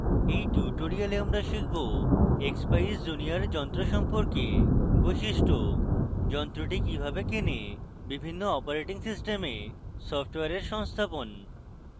in tutorial আমরা শিখব